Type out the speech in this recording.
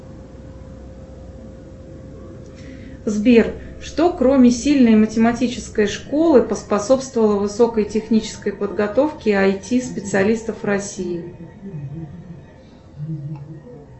сбер что кроме сильной математической школы поспособствовало высокой технической подготовке айти специалистов в россии